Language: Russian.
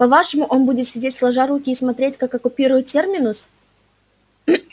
по-вашему он будет сидеть сложа руки и смотреть как оккупируют терминус